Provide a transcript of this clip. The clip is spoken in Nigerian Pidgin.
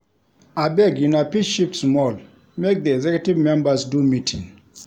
Abeg una fit shift small make di executive members do meeting.